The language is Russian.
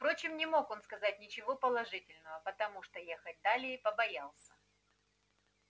впрочем не мог он сказать ничего положительного потому что ехать далее побоялся